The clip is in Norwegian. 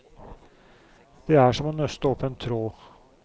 Det er som å nøste opp en tråd.